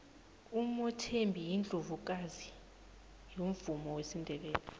umothembi yindlovukazi yomvumo wesindebele